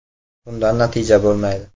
Bundan natija bo‘lmaydi.